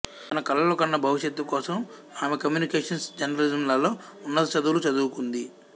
తన కలలు కన్న భవిష్యత్తు కోసం ఆమె కమ్యూనికేషన్స్ జర్నలిజంలలో ఉన్నత చదువులు చదువుకుంది